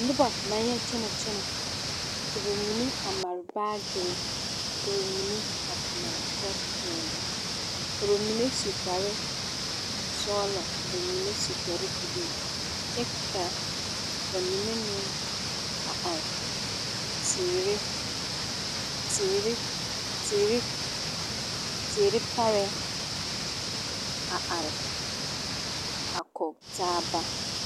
Nobɔ na yɛ kyɛnɛ ka ba mine a mare baagire ka ba mine a mare kyɛ pɛgle ka ba mine su kparesɔglɔ ka ba mine su kparebluu kyɛ ka ba mine meŋ a are teere teere teere teere parɛɛ are a kɔge taaba.